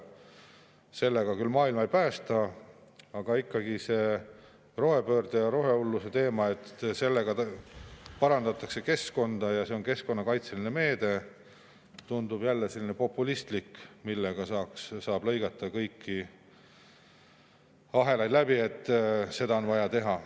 Sellega küll maailma ei päästa, aga ikkagi see rohepöörde ja rohehulluse teema, et sellega parandatakse keskkonda ja see on keskkonnakaitseline meede, tundub jälle populistlik, millega saab lõigata kõiki ahelaid läbi, et seda on vaja teha.